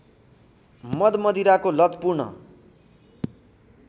मदमदिराको लत पूर्ण